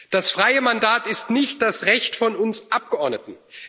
Das freie Mandat ist nicht das Recht von uns Abgeordneten.